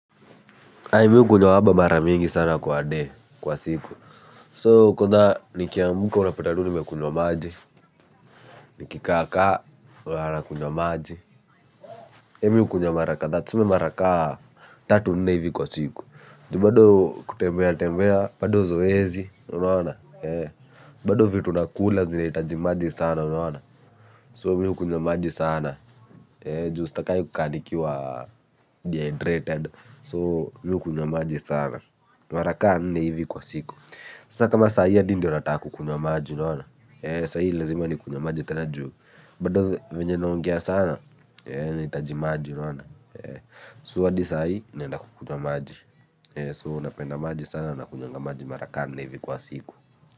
Mi hukunywa waba mara nyingi sana kwa day, kwa siku. So nikiamka unapata tu nimekunywa maji, nikikaaka unaona nakunywa maji. Mimi hukunywa mara na tuseme mara ka tatu nne hivi kwa siku. Juu bado kutembea tembea, bado zoezi, unaona? Bado vitu nakula zinahitaji maji sana, unaona? So mi hukunywa maji sana. Juu stakangi kukaa nikiwa, dehydrated. So mi hukunwa maji sana. Mara ka nne hivi kwa siku. Sasa kama saa hii hadi ndio nataka kukunywa maji, unaona. Eh saa hii lazima nikunywe maji tena juu bado venye naongea sana, eh nahitaji maji, unaona? Eh so hadi saa hii naenda kukunywa maji. Eh, so napenda maji sana nakunywanga maji mara ka nne hivi kwa siku.